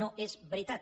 no és veritat